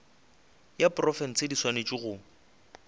ya profense di swanetše go